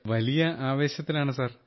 വലിയ ആവേശത്തിലാണ് സർ